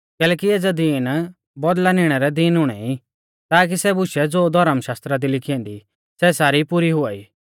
कैलैकि एज़ै दीन बदला निणा रै दीन हुणै ई ताकी सै बुशै ज़ो धौर्म शास्त्रा दी लिखी ऐन्दी सै सारी पुरी हुआई